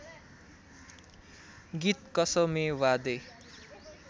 गीत कसमे वादे